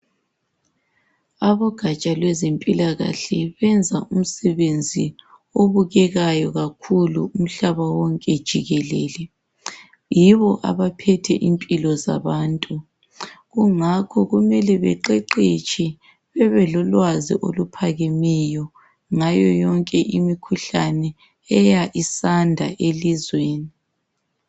Abogatsha lwezempilakahle benza umsebenzi obukekayo kakhulu umhlaba wonke jikelele yibo abaphethe impilo zabantu kungakho kumele beqeqetshe bebelolwazi oluphakemeyo ngayo yonke imikhuhlane eya isanda elizweni.